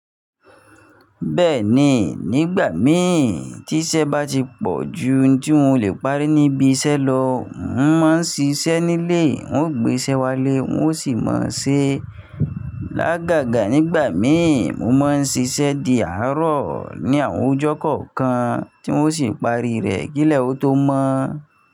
Bẹ́ẹ̀ni, nígbà mìí tí isẹ́ bá ti pọ̀ ju tí mo lè parí níbi isẹ́ lọ, mo máa ń ṣiṣẹ́ nílé. Wọn ó gbé iṣẹ́ wá lé, wọn ó sì máa ṣe. Lágàgà nígbà mìí, mo máa ń ṣiṣẹ́ di àárọ̀ ní àwọn ọjọ́ kọ̀ọ̀kan, tí mo sì pari rẹ̀ kí ilẹ̀ ó tó mọ́.